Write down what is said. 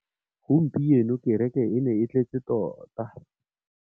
Gompieno kêrêkê e ne e tletse tota.